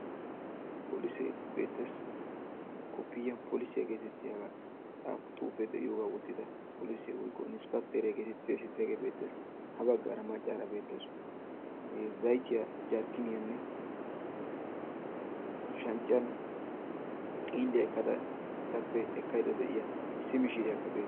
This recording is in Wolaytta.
polisee beetes, koppoyiyan inspekteriya geetettiya polisee beetees, ha bagaara macaara beettawusu zayttiya etappe zambiilyan ekkiya iss mishiriya